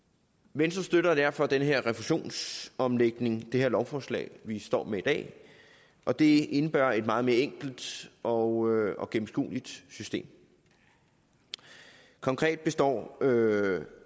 venstre støtter derfor den her refusionsomlægning i det her lovforslag vi står med i dag og det indebærer et meget mere enkelt og og gennemskueligt system konkret består